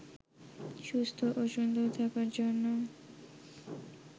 সুস্থ ও সুন্দর থাকার জন্য